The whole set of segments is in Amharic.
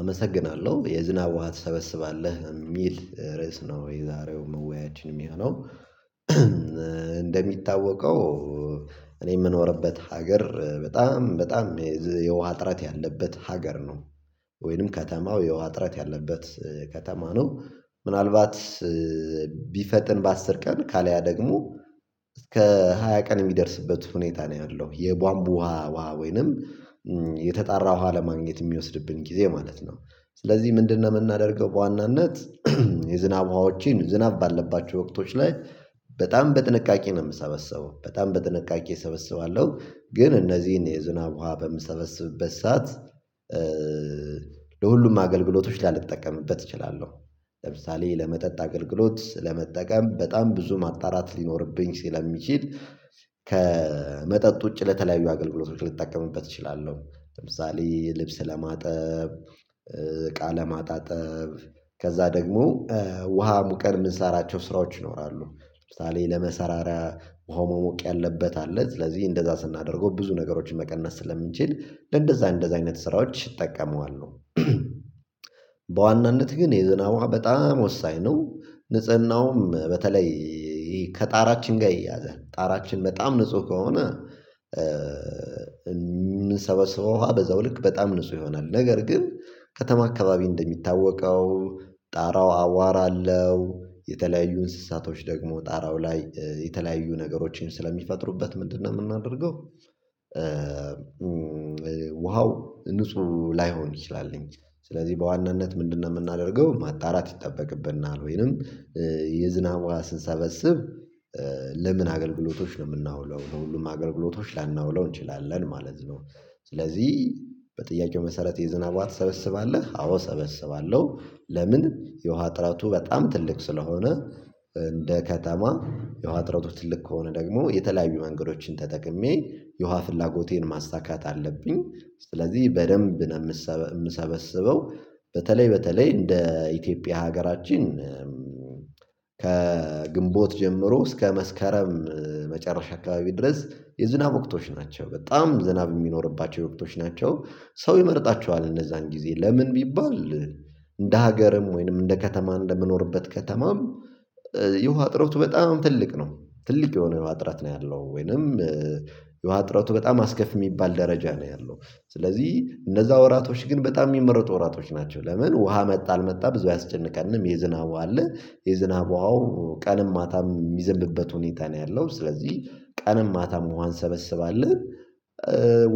አመሰግናለሁ የዝናብ ውሃ ትሰበስባለህ የሚል ርዕስ ነው። የዛሬው መወያያችን የሚሆነው እንደሚታወቀው እኔ የምኖርበት ሀገር በጣም በጣም የውሃ እጥረት ያለበት ሀገር ነው ወይንም ከተማው የውሃ እጥረት ያለበት ከተማ ነው። ምናልባት ቢፈጥን በአስር ቀን ካለያ ደግሞ እስከ ሃያ ቀን የሚደርስበት ሁኔታ ነው ያለው የቧንቡ ውሃ ውሃ ወይንም የተጣራ ውሃ ለማግኘት የሚወስድብን ጊዜ ማለት ነው። ስለዚህ ምንድነው የምናደርገው በዋናነት የዝናብ ውሃዎች ዝናብ ባለባቸው ወቅቶች ላይ በጣም በጥንቃቄ ነው የምሰበሰበው በጣም በጥንቃቄ እሰበስባለሁ። ግን እነዚህን የዝናብ ውሃ በምትሰበስብበት ሰዓት ለሁሉም አገልግሎቶች ላልጠቀምበት እችላለሁ። ለምሳሌ ለመጠጥ አገልግሎት ለመጠቀም በጣም ብዙ ማጣራት ሊኖርብኝ ሲለሚችል ውጪ ለተለያዩ አገልግሎት ልጠቀምበት እችላለሁ ለምሳሌ ልብስ ለማጠብ እቃ ለማጠብ ማጣጠብ ከዚያ ደግሞ ውሃ አሙቀን የምንሰራቸው ስራዎች ይኖራሉ ለምሳሌ ለመሰራራ ውሃው መሞቅ ያለበት አለ ስለዚህ እንደዛ ስናደርገው ብዙ ነገሮችን መቀነስ ስለምንችል ለእንደዝያ ለእንደዝያ አይነት ስራዎች ይጠቀመዋል። በዋናነት ግን የዝናብ ውሃ በጣም ወሳኝ ነው። ንጽህናውም በተለይ ከጣራችን ጋር ይያዛል ጣራችን በጣም ንጹህ ከሆነ የምንሰበሰበው ውሃ በዛው ልክ በጣም ንጹህ ይሆናል። ነገር ግን ከተማ አካባቢ እንደሚታወቀው ጣራው አዋራለሁ የተለያዩ እንስሳቶች ደግሞ ጣራው ላይ የተለያዩ ነገሮችን ስለሚፈጥሩበት ምንድነው የምናደርገው? ውሃው ንጹህ ላይሆን ይችላል። ስለዚህ በዋናነት ምንድነው የምናደርገው ማጣራት ይጠበቅብናል ወይንም የዝናብ ውሃ ስንሰበስብ ለምን አገልግሎቶች ነው የምናውለው ለሁሉም አገልግሎቶች ላናውለው እንችላለን ማለት ነው። ስለዚህ በጥያቄው መሰረት የዝናብ ውሃ ትሰበስባለህ አዎ ሰበስባለሁ። ለምን የውሃ ጥረቱ በጣም ትልቅ ስለሆነ እንደ ከተማ የውሃ እጥረት ትልቅ ከሆነ ደግሞ የተለያዩ መንገዶችን ተጠቅሜ የውሃ ፍላጎቴን ማሳካት አለብኝ ስለዚህ በደንብ ነው የምሰበስበው። በተለይ በተለይ እንደ ኢትዮጵያ ሀገራችን ከግንቦት ጀምሮ እስከ መስከረም መጨረሻ አካባቢ ድረስ የዝናብ ወቅቶች ናቸው በጣም ዝናብ የሚኖርባቸው ወቅቶች ናቸው። ሰው ይመርጣቸዋል እነዝያን ጊዜ ለምን ቢባል እንደ ሀገርም ወይንም እንደ ከተማ እንደምኖርበት ከተማም የውሃ እጥረቱ በጣም ትልቅ ነው። ትልቅ የሆነ የውሃ እጥረት ነው ያለው ወይንም የውሃ እጥረቱ በጣም አስከፊ የሚባል ደረጃ ነው ያለው። ስለዚህ እነዚያ ወራቶች ግን በጣም የሚመረጡ ወራቶች ናቸው ለምን ውሃ መጣ አልመጣ ብዙ አያስጨንቃንም የዝናብ ውሃ አለ። የዝናብ ውሃ ቀንም ማታም የሚዘንብበት ሁኔታ ነው ያለው ስለዚህ ቀንም ማታም ውሃን እንሰበስባለን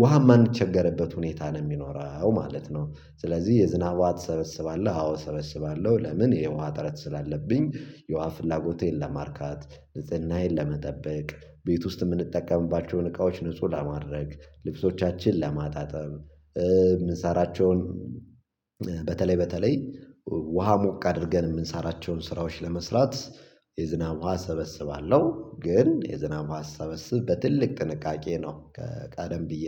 ውሃም መንቸገርበት ሁኔታ ነው የሚኖረው ማለት ነው። ስለዚህ የዝናብ ውሃ ትሰበስባለህ አዎ እሰበስባለሁ። ለምን የውሃ እጥረት ስላለብኝ የውሃ ፍላጎቴን ለማርካት ንጽህናዬን ለመጠበቅ ቤት ውስጥ የምንጠቀምባቸውን እቃዎች ንጹህ ለማድረግ ልብሶቻችን ለማጣጠብ የምንሰራቸውን በተለይ በተለይ ውሃ ሞቅ አድርገን የምንሰራቸውን ስራዎች ለመስራት የዝናብ ውሃ እሰበስባለሁ። ግን የዝናብ ውሃ ስሰበስብ በትልቅ ጥንቃቄ ነው። ቀደም ብዬ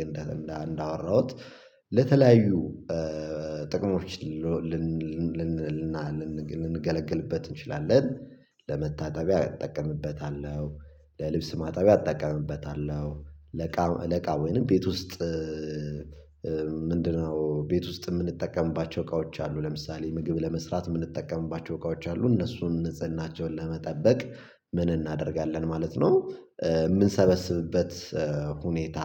እንዳወራሁት ለተለያዩ ጥቅሞች ልንገለገልበት እንችላለን። ለመታጠቢያ እጠቀምበታለሁ። ለልብስ ማጣቢያ እጠቀምበታለሁ። ለእቃ ለእቃ ወይንም ቤት ውስጥ ምንድነው ቤት ውስጥ የምንጠቀምባቸው እቃዎች አሉ ለምሳሌ ምግብ ለመስራት የምንጠቀምባቸው እቃዎች አሉ እነሱን ንጽህናቸውን ለመጠበቅ ምን እናደርጋለን ማለት ነው? የምንሰበስብበት ሁኔታ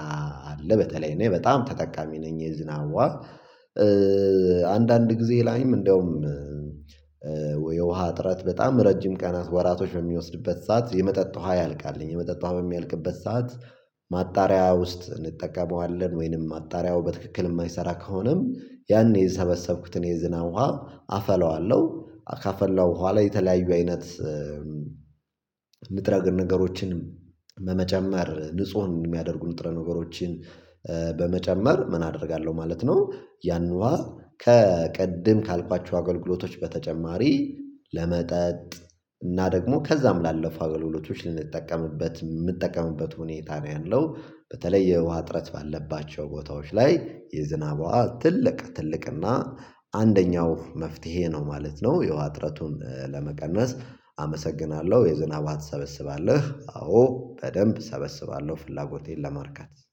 አለ በተለይ እኔ በጣም ተጠቃሚ ነኝ የዝናብ ውሃ። አንዳንድ ጊዜ ላይም እንደውም የውሃ እጥረት በጣም ረጅም ቀናት ወራቶች በሚወስድበት ሰዓት የመጠጥ ውሃ ያልቃል የመጠጥ ውሃ በሚያልቅበት ሰዓት ማጣሪያ ውስጥ እንጠቀመዋለን ወይንም ማጣሪያው በትክክል የማይሰራ ከሆነም ያኔ የሰበሰብኩትን የዝናብ ውሃ አፈላዋለሁ ካፈላው በኋላ የተለያዩ አይነት ንጥረ ነገሮችን በመጨመር ንጹህ የሚያደርጉ ንጥረ ነገሮችን በመጨመር ምን አደርጋለሁ ማለት ነው? ያንን ውሃ ከቀድም ካልኳቸው አገልግሎቶች በተጨማሪ ለመጠጥ እና ደግሞ ከዛም ላለፉ አገልግሎቶች ልንጠቀምበት የምጠቀምበት ሁኔታ ነው ያለው በተለይ የውሃ እጥረት ባለባቸው ቦታዎች ላይ የዝናብ ውሃ ትልቅ ትልቅና አንደኛው መፍትሄ ነው ማለት ነው። የውሃ እጥረቱን ለመቀነስ አመሰግናለሁ የዝናብ ውሃ ትሰበስባለህ? አዎ በደንብ እሰበስባለሁ። ፍላጎቴን ለማርካት